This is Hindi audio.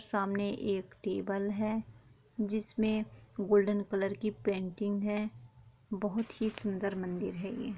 सामने एक टेबल है जिसमे गोल्डन कलर की पेंटिंग है बहुत ही सुंदर मंदिर है ये--